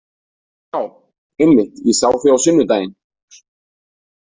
Já, einmitt, ég sá þig á sunnudaginn.